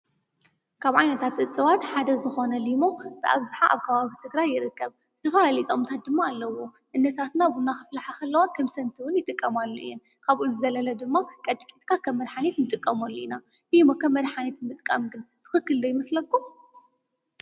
ካብ ዓይነታት እፅዋት ሓደ ዝኮነ ሊሞ ብኣብዝሓ ኣብ ከባቢ ትግራይ ይርከብ፡፡ ዝተፈላለዩ ጥቅምታት ድማ ኣለዎ፡፡ እኖታትና ቡና ከፍልሓ ከለዋ ከም ሰቲ እውን ይጥቀማሉ እየን፡፡ ካብኡ ዝዘለለ ድማ ቀጥቂጥካ ከም መድሓኒት ንጥቀመሉ ኢና፡፡ ሊሞ ከም መድሓኒት ምጥቃም ግን ትክክል ዶ ይመስለኩም?